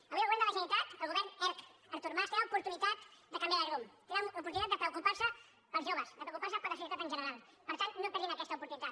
avui el govern de la generalitat el govern erc artur mas té l’oportunitat de canviar de rumb té l’oportunitat de preocupar se pels joves de preocupar se per la societat en general per tant no perdin aquesta oportunitat